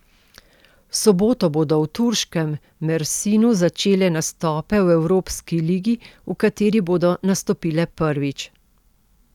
V soboto bodo v turškem Mersinu začele nastope v evropski ligi, v kateri bodo nastopile prvič.